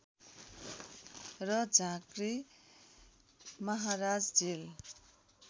र झाँक्री महाराज जेल